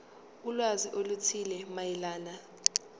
ulwazi oluthile mayelana